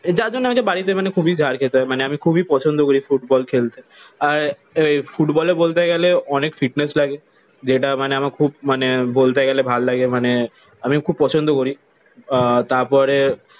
যার জন্যে বাড়িতে মানে খুবই ঝাড় খেতে হয়। মানে আমি খুবই পছন্দ করি ফুটবল খেলতে। আর ফুটবলে বলতে গেলে অনেক ফিটনেস লাগে যেটা মানে আমার খুব মানে বলতে গেলে ভালো লাগে। মানে আমি খুব পছন্দ করি। আহ তারপরে